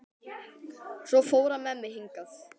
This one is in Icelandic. Svo fór hann með mig hingað.